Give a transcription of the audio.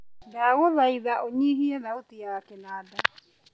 ndagũthaitha ũnyihie thauti ya kĩnada